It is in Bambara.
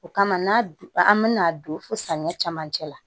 O kama n'a an bɛna don fo samiya camancɛ la